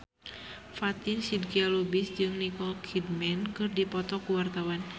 Fatin Shidqia Lubis jeung Nicole Kidman keur dipoto ku wartawan